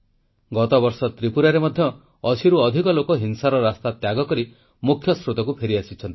ଗତବର୍ଷ ତ୍ରିପୁରାରେ ମଧ୍ୟ ଅଶୀରୁ ଅଧିକ ଲୋକ ହିଂସାର ରାସ୍ତା ତ୍ୟାଗକରି ମୁଖ୍ୟସ୍ରୋତକୁ ଫେରିଆସିଛନ୍ତି